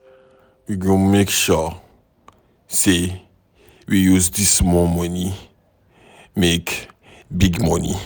We go make sure sey we use dis small moni make big moni.